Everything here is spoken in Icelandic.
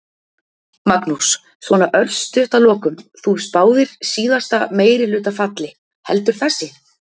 Magnús: Svona örstutt að lokum, þú spáðir síðasta meirihluta falli, heldur þessi?